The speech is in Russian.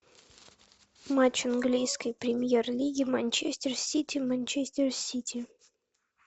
матч английской премьер лиги манчестер сити манчестер сити